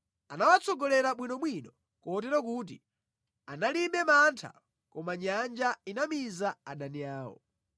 Anawatsogolera bwinobwino kotero kuti analibe mantha koma nyanja inamiza adani awo.